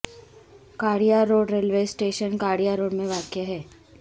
کاڑیاں road railway station کاڑیاں road میں واقع ہے